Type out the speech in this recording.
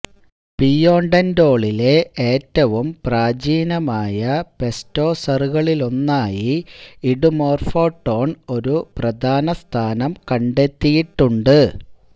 പിയൊണ്ടന്റോളിലെ ഏറ്റവും പ്രാചീനമായ പെസ്റ്റോസറുകളിലൊന്നായി ഇഡുമോർഫോടോൺ ഒരു പ്രധാന സ്ഥാനം കണ്ടെത്തിയിട്ടുണ്ട്